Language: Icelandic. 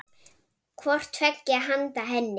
hvort tveggja handa henni.